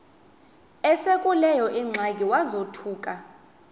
esekuleyo ingxaki wazothuka